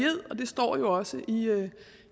ed det står jo også